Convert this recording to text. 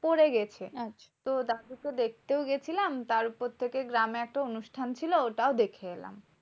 পরে গেছে। তো তাকে তো দেখতেও গেছিলাম। তার উপর থেকে গ্রামে তো অনুষ্ঠান ছিল, ওটাও দেখে এলাম।